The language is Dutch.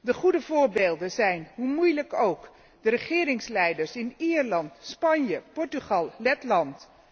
De goede voorbeelden zijn, hoe moeilijk ook, de regeringsleiders in Ierland, Spanje, Portugal, Letland.